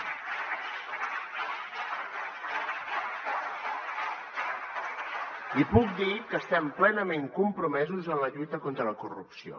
i puc dir que estem plenament compromesos en la lluita contra la corrupció